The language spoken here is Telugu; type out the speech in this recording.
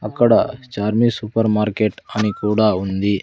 అక్కడ ఛార్మి సూపర్ మార్కెట్ అని కూడా ఉంది.